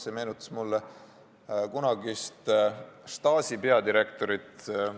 See meenutas mulle kunagist Stasi peadirektorit.